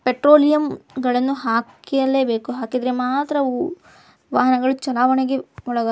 ಪೆಟ್ರೋಲಿಯಂಗಳನ್ನು ಹಾಕಲೇ ಬೇಕು ಹಾಕಿದರೆ ಮಾತ್ರ ಅವು ವಾಹನಗಳು ಚಲಾವಣೆಗೆ ಒಳಗ --